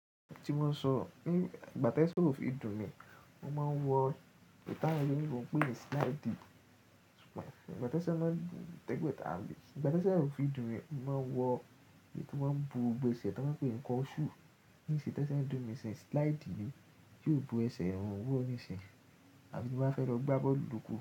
Ti mo so ní ìgbà tí ẹsẹ̀ ò fi dùn mi, mo máa ń wọ eyi ti awon oloyinbo ń pè ní slide. Ṣùgbọ́n tí ẹsẹ̀ máa ń dùn tẹ́gbọ́ntàbù, ìgbà tí ẹsẹ̀ ò fi dùn mi, mo máa ń wọ èyí tí o maa ń bo gbogbo ẹ́sẹ̀ tí wọ́n ń pè ní kosu Nísin tí ẹsẹ̀ ń dùn mi se slide yìí tí ò bo ẹsẹ̀ ni mo n wòó nísìnyí, àbí to mo máa fẹ́ lọ gbá bọ́ọ̀lù kù.